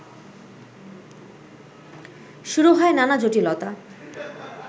শুরু হয় নানা জটিলতা